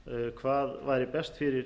hvað væri best fyrir